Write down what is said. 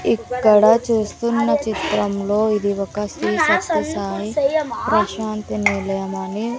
ఇక్కడ చూస్తున్న చిత్రంలో ఇది ఒక శ్రీ సత్య సాయి ప్రశాంతి నిలయం అని.